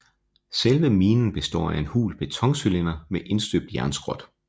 Selve minen består af en hul betoncylinder med indstøbt jernskrot